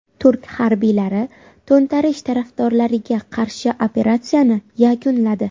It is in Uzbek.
Turk harbiylari to‘ntarish tarafdorlariga qarshi operatsiyani yakunladi.